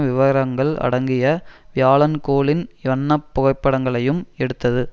விவரங்கள் அடங்கிய வியாழன் கோளின் வண்ண புகைப்படங்களையும் எடுத்தது